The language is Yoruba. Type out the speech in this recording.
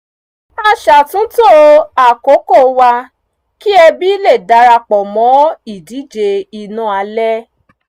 a ṣàtúntò àkókò wa kí ẹbí lè darapọ̀ mọ́ ìdíje iná alẹ́